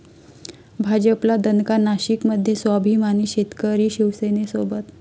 भाजपला दणका, नाशिकमध्ये 'स्वाभिमानी शेतकरी' शिवसेनेसोबत